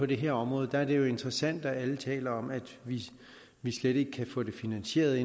det her område det er interessant at alle taler om at vi slet ikke kan få det finansieret